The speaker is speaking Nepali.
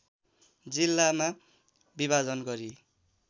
जिल्लामा विभाजन गरी